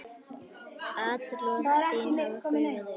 Atlot þín hafa gufað upp.